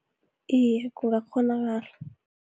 Iye, kungakghonakala.